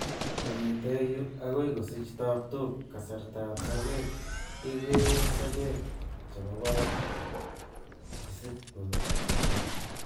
Kongeten yu akoi kosich tabtook, kasartab sokeek kekeeren sokeek chebo barak chesibkotoku